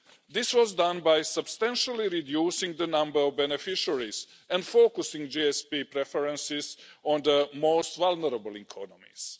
This was done by substantially reducing the number of beneficiaries and focusing GSP preferences on the most vulnerable economies.